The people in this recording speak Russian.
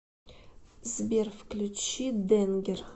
сбер включи дэнгер